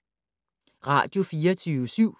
Radio24syv